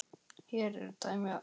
Hér eru dæmi um nokkur